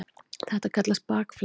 Þetta kallast bakflæði.